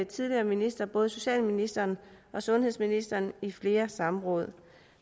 tidligere ministre både socialministeren og sundhedsministeren i flere samråd